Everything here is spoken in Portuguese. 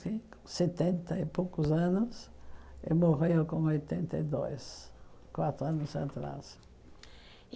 setenta e poucos anos e morreu com oitenta e dois, quatro anos atrás.